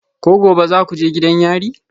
Ko gobe za ku je gidan yari?